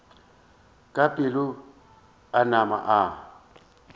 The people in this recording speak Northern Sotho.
ka pela a nama a